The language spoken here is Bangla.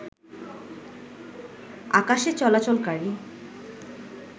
আকাশে চলাচলকারী